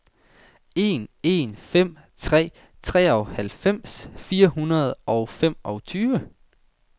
en en fem tre treoghalvfems fire hundrede og femogtyve